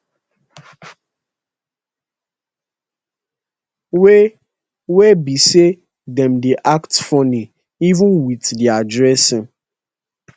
wey wey be say dem dey act funny even wit dia dressing